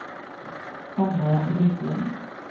Hanna Lindblom